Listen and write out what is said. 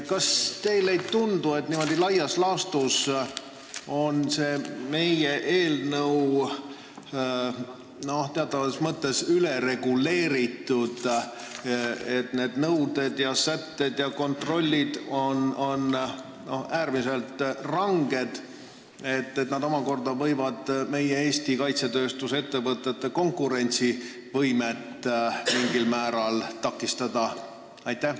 Kas teile ei tundu, et laias laastus on meie eelnõu teatavas mõttes ülereguleeritud, et need nõuded, sätted ja kontrollid on äärmiselt ranged, mis võib omakorda Eesti kaitsetööstusettevõtete konkurentsivõimet mingil määral takistada?